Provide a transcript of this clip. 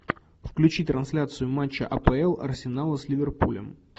включи трансляцию матча апл арсенала с ливерпулем